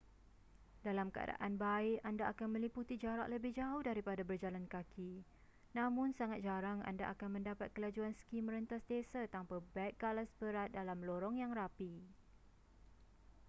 dalam keadan baik anda akan meliputi jarak lebih jauh daripada berjalan kaki namun sangat jarang anda akan mendapat kelajuan ski merentas desa tanpa beg galas berat dalam lorong yang rapi